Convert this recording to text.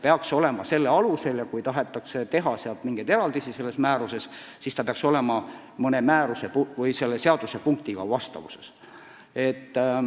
Ja kui kõnealuse määruse alusel tahetakse sellest fondist teha mingeid eraldisi, siis see peaks olema selle seadusega vastavuses.